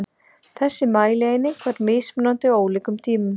Þessi mælieining var mismunandi á ólíkum tímum.